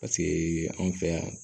Paseke anw fɛ yan